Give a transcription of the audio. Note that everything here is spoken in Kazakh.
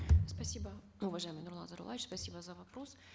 спасибо уважаемый нурлан зайроллаевич спасибо за вопрос